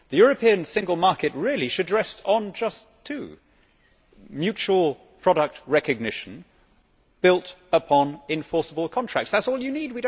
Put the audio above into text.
The European single market really should rest on just two mutual product recognition built upon enforceable contracts. That is all you need